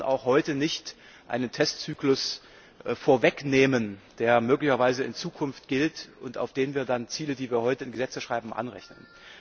Wir können auch heute nicht einen Testzyklus vorwegnehmen, der möglicherweise in Zukunft gilt und auf den wir dann Ziele, die wir heute in Gesetze schreiben, anrechnen.